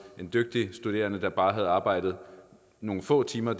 en dygtig studerende der bare har arbejdet nogle få timer